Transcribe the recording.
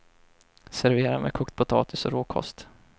Servera med kokt potatis och råkost.